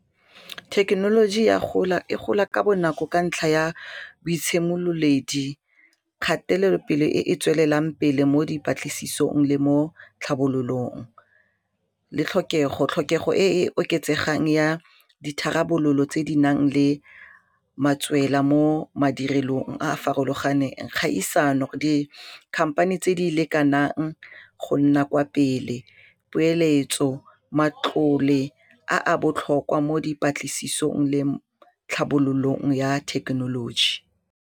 Thekenoloji ya gola e gola ka bonako ka ntlha ya bo itshimololedi kgatelelopele e e tswelelang pele mo dipatlisisong le mo tlhabololong le tlhokego e e oketsegang ya ditharabololo tse di nang le matswela mo madirelong a a farologaneng kgaisano di-company tse di lekanang go nna kwa pele poeletso, matlole a botlhokwa mo dipatlisisong le tlhabololong ya thekenoloji.